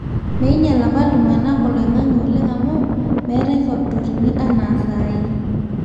meinyal apa iltungana oloingange oleng amu meetae factorini anaa sahi